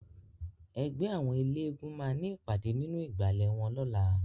Ègbè áwòn éléègúùn má ni ipàdé ninú igbále wòn lòlá